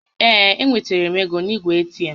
Ee, e wetanwuru m égo n'igwe ATM